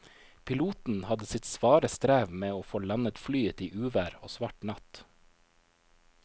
Piloten hadde sitt svare strev med å få landet flyet i uvær og svart natt.